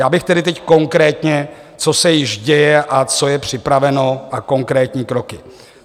Já bych tedy teď konkrétně, co se již děje a co je připraveno, a konkrétní kroky.